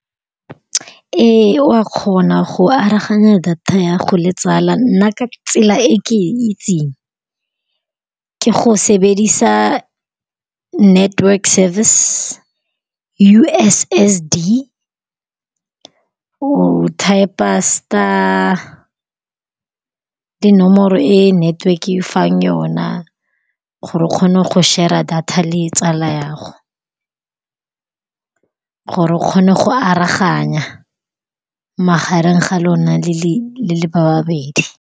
Ee, wa kgona go aroganya data ya gago le tsala. Nna ka tsela e ke itseng ke go sebedisa network-e service. U_S_S_D o typer star le nomoro e network-e e go fang yona, gore o kgone go share-ra data le tsala ya gago, gore o kgone go aroganya magareng ga lona le le babedi.